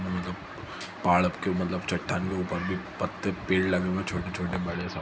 मतलब पहाड़ के मतलब चट्टान के ऊपर भी पत्ते पेड़ लगे हुए हैं छोटे-छोटे बड़े सब --